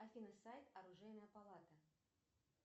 афина сайт оружейная палата